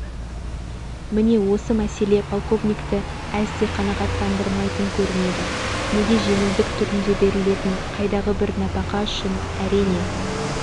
міне осы мәселе полковникті әсте қанағаттандырмайтын көрінеді неге жеңілдік түрінде берілетін қайдағы бір нәпақа үшін әрине